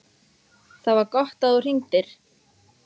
ÞAÐ VAR GOTT AÐ ÞÚ HRINGDIR.